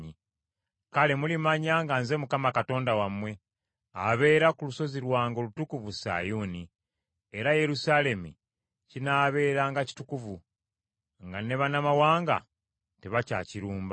“Kale mulimanya nga Nze Mukama Katonda wammwe, abeera ku lusozi lwange olutukuvu Sayuuni. Era Yerusaalemi kinaabeeranga kitukuvu, nga ne bannamawanga tebakyakirumba.